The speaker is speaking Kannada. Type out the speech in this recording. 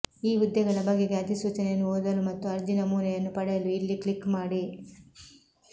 ಈ ಹುದ್ದೆಗಳ ಬಗೆಗೆ ಅಧಿಸೂಚನೆಯನ್ನು ಓದಲು ಮತ್ತು ಅರ್ಜಿ ನಮೂನೆಯನ್ನು ಪಡೆಯಲು ಇಲ್ಲಿ ಕ್ಲಿಕ್ ಮಾಡಿ